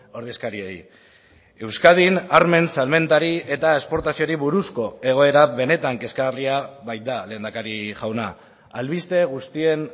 ordezkariei euskadin armen salmentari eta esportazioari buruzko egoera benetan kezkagarria baita lehendakari jauna albiste guztien